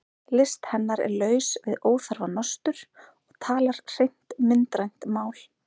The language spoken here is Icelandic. List hennar er laus við óþarfa nostur og talar hreint myndrænt mál.